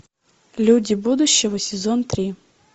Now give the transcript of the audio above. люди будущего сезон три